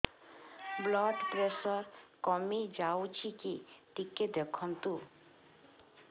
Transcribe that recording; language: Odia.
ବ୍ଲଡ଼ ପ୍ରେସର କମି ଯାଉଛି କି ଟିକେ ଦେଖନ୍ତୁ